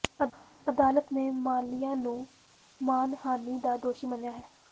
ਅਦਾਲਤ ਨੇ ਮਾਲਿਆ ਨੂੰ ਮਾਣਹਾਨੀ ਦਾ ਦੋਸ਼ੀ ਮੰਨਿਆ ਹੈ